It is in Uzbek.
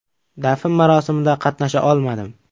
Dafn marosimida qatnasha olmadim.